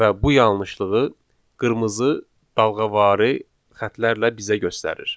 Və bu yanlışlığı qırmızı dalğavari xətlərlə bizə göstərir.